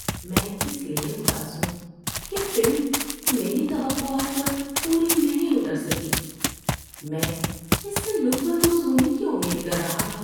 میں اس لیے اداس ہوں کہ فلم میری توقعات پر پوری نہیں اتر سکی۔ میں اس سے لطف اندوز ہونے کی امید کر رہا تھا۔